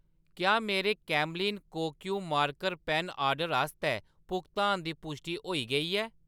क्या मेरे Camlin Kokuyo marker pen order आस्तै भुगतान दी पुश्टि होई गेई ऐ ?